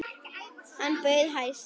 Hann bauð hæst.